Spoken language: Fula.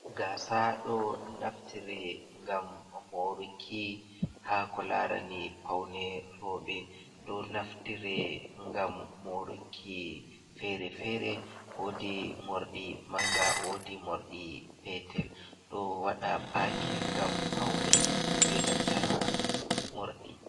Gasa ɗo naftire ngam moruki ha ko larani paune roɓɓe, ɗo naftire ngam moruki fere-fere, wodi morɗi manga, wodi morɗi petel, ɗo waɗa pakin ngam paune be nanta morɗi.